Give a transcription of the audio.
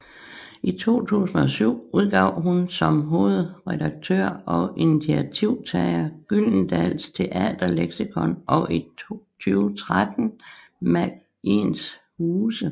I 2007 udgav hun som hovedredaktør og initiativtager Gyldendals Teaterleksikon og i 2013 Magiens Huse